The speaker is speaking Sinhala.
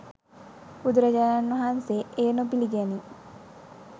බුදුරජාණන් වහන්සේ එය නොපිළිගනී.